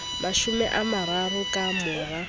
mashome a mararo ka mora